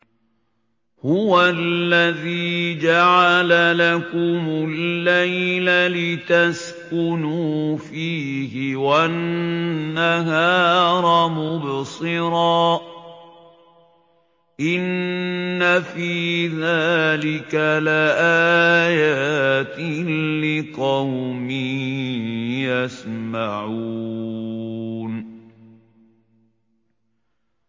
هُوَ الَّذِي جَعَلَ لَكُمُ اللَّيْلَ لِتَسْكُنُوا فِيهِ وَالنَّهَارَ مُبْصِرًا ۚ إِنَّ فِي ذَٰلِكَ لَآيَاتٍ لِّقَوْمٍ يَسْمَعُونَ